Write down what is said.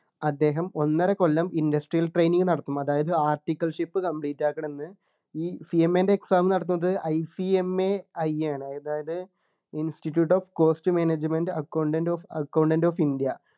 അദ്ദേഹം ഒന്നര കൊല്ലം industrial training നടത്തും അതായത് articleship complete ആക്കണം ന്നു ഈ CMA ൻ്റെ exam നടത്തുന്നത് ICMAI ആണ് അതായത് institute of cost management accountant of accountant of india